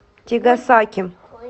тигасаки